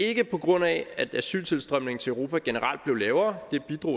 ikke på grund af at asyltilstrømningen til europa generelt blev lavere det bidrog